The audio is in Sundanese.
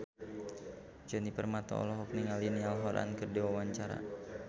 Djoni Permato olohok ningali Niall Horran keur diwawancara